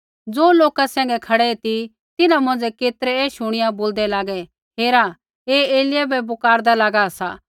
ज़ो लोका सैंघै खड़ै ती तिन्हां मौंझ़ै केतरै ऐ शुणिया बोलदै लागे हेरा ऐ एलिय्याह बै पुकारदा लागा सा